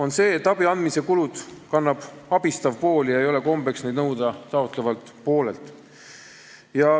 Nimelt, abi andmise kulud kannab abistav pool, ei ole kombeks seda nõuda taotlevalt poolelt.